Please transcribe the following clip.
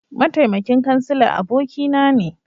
Mataimakin Kansila abokina ne